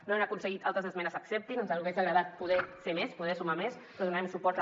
no hem aconseguit que altres esmenes s’acceptin ens hagués agradat poder ser més poder sumar més però donarem suport a